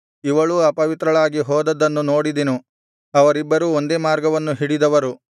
ಇವಳೂ ಅಪವಿತ್ರಳಾಗಿ ಹೋದದ್ದನ್ನು ನೋಡಿದೆನು ಅವರಿಬ್ಬರು ಒಂದೇ ಮಾರ್ಗವನ್ನು ಹಿಡಿದವರು